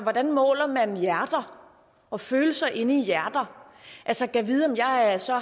hvordan måler man hjerter og følelser inde i hjerter gad vide om jeg så